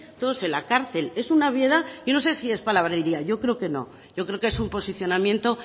todos en la cárcel es una obviedad yo no sé si es palabrería yo creo que no yo creo que es un posicionamiento